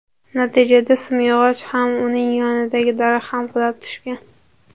Natijada simyog‘och ham, uning yonidagi daraxt ham qulab tushgan.